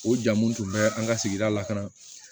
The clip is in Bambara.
O ja mun tun bɛ an ka sigida lakana